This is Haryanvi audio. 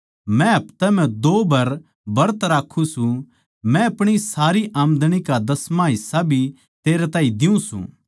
मै हफ्तै म्ह दो बर ब्रत राक्खु सूं मै अपणी सारी आमंदणी का दसमाँ हिस्सा भी तेरे ताहीं देऊँ द्यु सूं